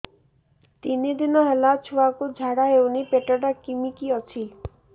ତିନି ଦିନ ହେଲା ଛୁଆକୁ ଝାଡ଼ା ହଉନି ପେଟ ଟା କିମି କି ଅଛି